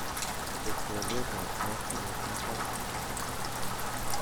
chob twolyot ab sait somok mutai